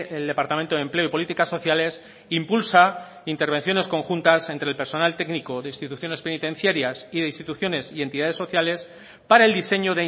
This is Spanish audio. el departamento de empleo y políticas sociales impulsa intervenciones conjuntas entre el personal técnico de instituciones penitenciarias y de instituciones y entidades sociales para el diseño